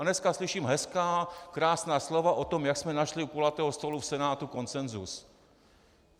A dneska slyšíme hezká, krásná slova o tom, jak jsme našli u kulatého stolu v Senátu konsenzus.